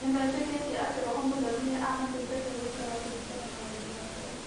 Nĩmetĩkĩtie atĩ roho mũtheru nĩ amateithagia gũikara kũringana na wendi wa Ngai.